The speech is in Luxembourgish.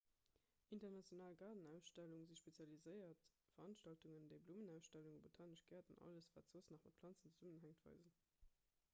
international gaardenausstellunge si spezialiséiert veranstaltungen déi blummenausstellungen botanesch gäert an alles wat soss nach mat planzen zesummenhänkt weisen